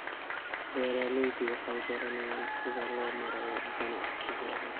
Beeraleydu waxay baranayaan sida loo maareeyo ganacsigooda.